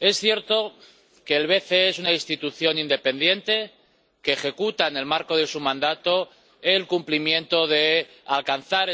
Es cierto que el BCE es una institución independiente que ejecuta, en el marco de su mandato, el cumplimiento del objetivo de alcanzar